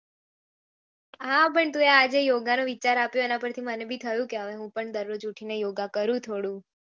હા પણ તુએ આજે યોગા નું વિચાર આપ્યો એના પરથી થી મને ભી થયો કે હવે હું પણ ઉઠી ને યોગા જરુ થોડું